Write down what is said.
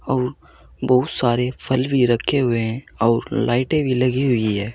और बहुत सारे फल भी रखे हुए हैं और लाइटें भी लगी हुई है।